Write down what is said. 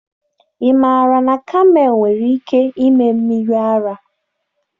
Ị maara na kamel nwere ike ịme mmiri ara?